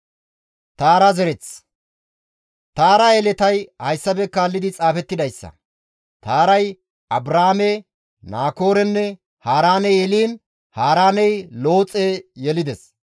Taara yeletay hayssafe kaallidi xaafettidayssa; Taaray Abraame, Naakoorenne Haaraane yeliin Haaraaney Looxe yelides.